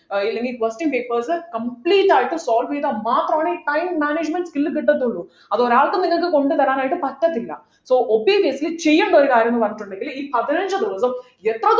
ഏർ ഇല്ലെങ്കിൽ question papers complete ആയിട്ട് solve ചെയ്താൽ മാത്രമാണ് ഈ time management കിട്ടത്തുന്നുള്ളു അത് ഒരാൾക്ക് നിങ്ങക്ക് കൊണ്ടുതരാനായിട്ട് പറ്റത്തില്ല so obviously ചെയ്യേണ്ട ഒരു കാര്യം എന്ന് പറഞ്ഞിട്ടുണ്ടെങ്കിൽ ഈ പതിനഞ്ചു ദിവസം എത്ര